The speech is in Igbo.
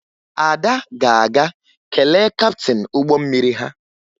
Ada ga-aga kelee kaptịn ụgbọ mmiri ha